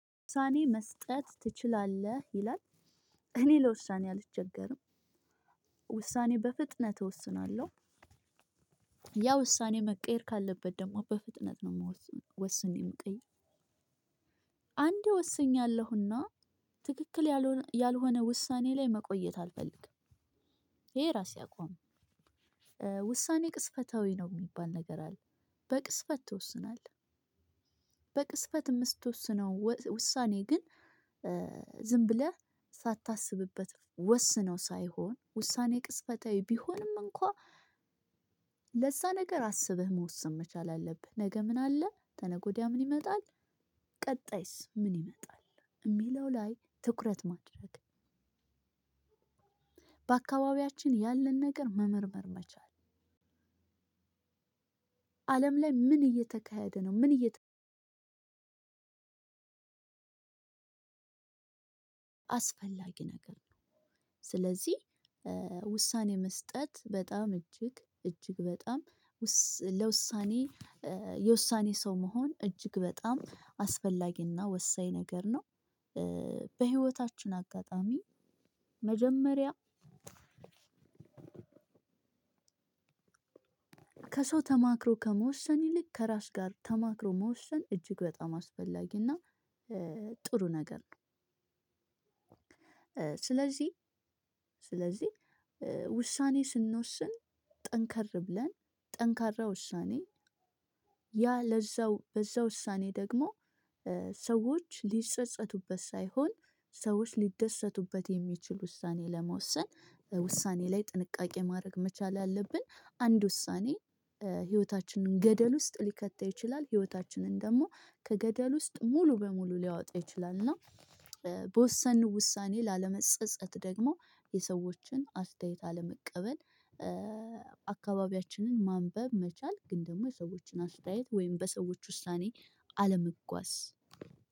ውሳኔ መስጠት ትችላለህ ይላል። እኔ ለውሳኔ አልቸገርም። ውሳኔ በፍጥነት እወስናለሁ። ያ ውሳኔ መቀየር ካለበት ደግሞ በፍጥነት ነው ምወስነው ወስኔ ቀይ። አንዴ ወስኛለሁና ትክክል ያልሆነ ውሳኔ ላይ መቆየት አልፈልግም። ይሄ ራሴ አቋም። ውሳኔ ቅጽበታዊ ነው የሚባል ነገር አለ በቅስፈት ትወስናለህ። በቅስፈት የምትወስነው ውሳኔ ግን ዝም ብለህ ሳታስብበት ወስነው ሳይሆን ውሳኔ ቅጽበታዊ ቢሆንም እንኳን። ለዛ ነገር አስበህ መወሰን መቻል አለብህ። ነገ ምን አለ ተነገወዳ ምን ይመጣል? ቀጣይስ ምን ይመጣል? እሚለው ላይ ትኩረት ማድረግ በአካባቢያችን ያለን ነገር መመርመር መቻል። አለም ላይ ምን እየተካሄደ ነው? ምን እየተ አስፈላጊ ነገር ነው። ስለዚህ ውሳኔ መስጠት በጣም እጅግ እጅግ በጣም ውስ ለውሳኔ የውሳኔ ሰው መሆን እጅግ በጣም አስፈላጊና ወሳኝ ነገር ነው። በህይወታችን አጋጣሚ መጀመሪያ ከሰው ተማክሮ ከመወሰን ይልቅ ከራስ ጋር ተማክሮ መወሰን እጅግ በጣም አስፈላጊና ጥሩ ነገር ነው። ስለዚህ ስለዚህ ውሳኔ ስንወስን ጠንከር ብለን ጠንካራ ውሳኔ። ያ ለዛው በዛ ውሳኔ ደግሞ ሰዎች ሊጸጸቱበት ሳይሆን ሰዎች ሊደሰቱበት የሚችሉ ውሳኔ ለመወሰን ውሳኔ ላይ ጥንቃቄ ማረግ መቻል አለብን። አንድ ውሳኔ ህይወታችንን ገደል ውስጥ ሊከታ ይችላል። ህይወታችንን ደሞ ከገደል ውስጥ ሙሉ በሙሉ ሊያወጣው ይችላል። እና በወሰው ውሳኔ ላለመጸጸት ደግሞ የሰዎችን አስተያየት አለመቀበል አካባቢያችንን ማንበብ መቻል ግን ደግሞ የሰዎችን አስተያየት ወይም በሰዎች ውሳኔ።